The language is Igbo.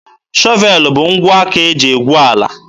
Shọvelụ bụ ngwa aka eji egwu ala.